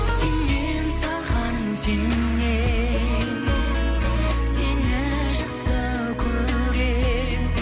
сенем саған сенем сені жақсы көрем